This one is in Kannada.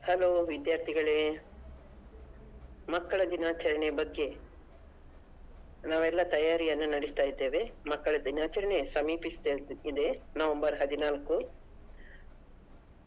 Hello ವಿದ್ಯಾರ್ಥಿಗಳೇ ಮಕ್ಕಳ ದಿನಾಚರಣೆಯ ಬಗ್ಗೆ ನಾವೆಲ್ಲಾ ತಯಾರಿಯನ್ನ ನಡೆಸ್ತಾ ಇದ್ದೇವೆ ಮಕ್ಕಳ ದಿನಾಚರಣೆ ಸಮಿಪಿಸ್ತಿದೆ November ಹದಿನಾಲ್ಕು .